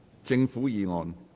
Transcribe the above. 政府議案。